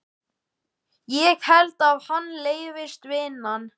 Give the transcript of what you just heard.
Ég held að henni leiðist vinnan.